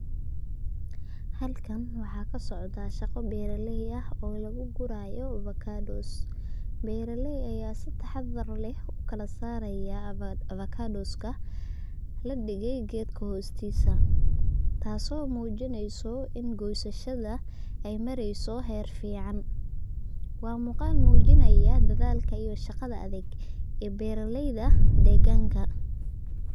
Halakan waxaa kasocda shaqa beeraley ah oo lugu gurayo ovacados, beeraley aya si taxadar leh ukala saaraya afokadoska ladhige gedka hostiisa, taaso muujineyso in gosashada ay mareyso heer fican, waa muqaal muujinaya dadalka iyo shaqada adag ee beeraleyda deegganka